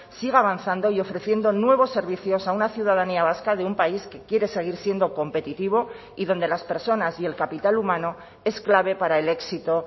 siga avanzando y ofreciendo nuevos servicios a una ciudadanía vasca de un país que quiere seguir siendo competitivo y donde las personas y el capital humano es clave para el éxito